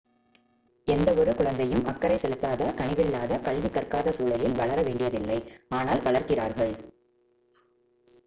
எந்தவொரு குழந்தையும் அக்கறை செலுத்தாத கனிவில்லாத கல்வி கற்காத சூழலில் வளர வேண்டியதில்லை ஆனால் வளர்கிறார்கள்